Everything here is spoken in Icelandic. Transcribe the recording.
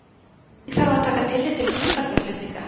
Einnig þarf að taka tillit til búferlaflutninga.